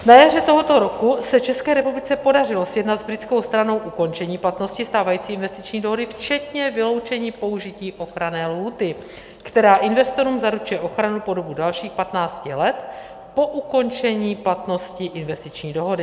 Na jaře tohoto roku se České republice podařilo sjednat s britskou stranou ukončení platnosti stávající investiční dohody včetně vyloučení použití ochranné lhůty, která investorům zaručuje ochranu po dobu dalších 15 let po ukončení platnosti investiční dohody.